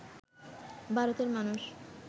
ভারতের মানুষ